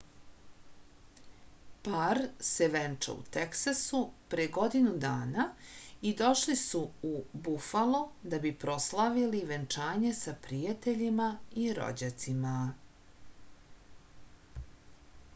par se venčao u teksasu pre godinu dana i došli su u bufalo da bi proslavili venčanje sa prijateljima i rođacima